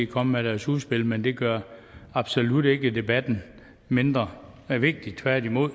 kom med deres udspil men det gør absolut ikke debatten mindre vigtig tværtimod